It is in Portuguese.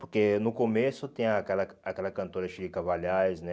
Porque no começo tem aquela aquela cantora, né?